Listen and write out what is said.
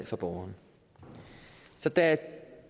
for borgerne så da